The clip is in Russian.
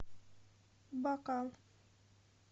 бакал